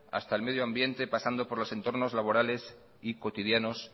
hasta el medio ambiente pasando por los entornos laborales y cotidianos